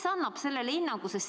Kes annab sellele hinnangu?